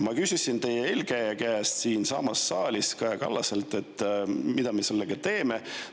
Ma küsisin siinsamas saalis teie eelkäijalt, Kaja Kallaselt, mida me sellega teeme.